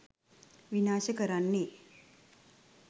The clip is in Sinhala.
විනාශ කරන්නෙ